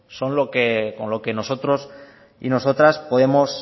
son con lo que nosotros y nosotras podemos